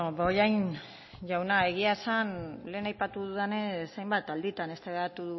bollain jauna egia esan lehen aipatu dudanez hainbat alditan eztabaidatu